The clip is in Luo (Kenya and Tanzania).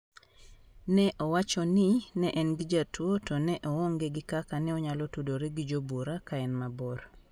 Ne owacho ni ne en gi jatuo to ne oonge gi kaka ne onyalo tudore gi jobura kaen mabor.